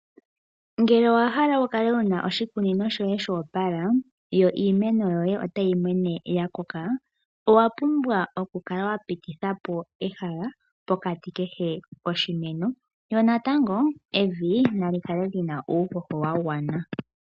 Ngele owa hala wukale wuna oshikunino shoye shoopala yo iimeno yoye otayi mene ya koka owa pumbwa okukala wa pititha po ehala pokati kehe koshimeno. Yo natango evi nali kale lina uuhoho wa gwana.